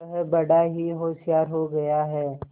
वह बड़ा ही होशियार हो गया है